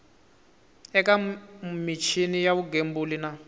eka michini ya vugembuli na